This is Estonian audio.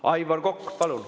Aivar Kokk, palun!